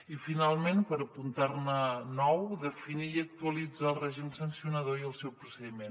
i finalment per apuntar ne nou definir i actualitzar el règim sancionador i el seu procediment